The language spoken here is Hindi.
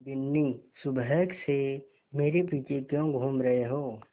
बिन्नी सुबह से मेरे पीछे क्यों घूम रहे हो